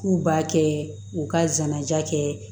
K'u b'a kɛ u ka janaja kɛ